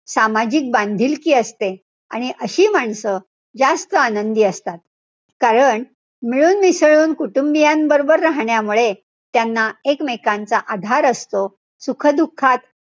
सामाजिक बांधिलकी असते. आणि अशी माणसं जास्त आनंदी असतात. कारण, मिळूनमिसळून कुटुंबीयांबरोबर राहण्यामुळे त्यांना एकमेकांचा आधार असतो. सुख-दुःखात,